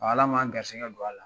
Ala m'an garisɛgɛ don a la.